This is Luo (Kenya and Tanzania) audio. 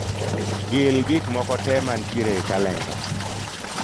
Gil gik moko tee mantiere e kalenda.